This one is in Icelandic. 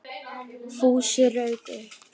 Fúsi rauk upp.